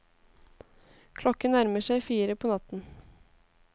Klokken nærmer seg fire på natten.